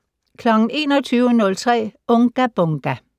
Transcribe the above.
21:03: Unga Bunga!